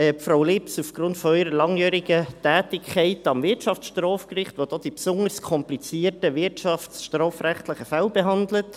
Frau Lips aufgrund ihrer langjährigen Tätigkeit am Wirtschaftsstrafgericht, welches die besonders komplizierten wirtschaftsstrafrechtlichen Fälle behandelt;